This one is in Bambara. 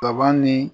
Kaba ni